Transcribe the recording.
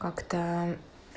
как-то